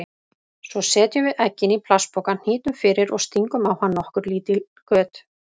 Svo setjum við eggin í plastpoka, hnýtum fyrir og stingum á hann nokkur lítil göt.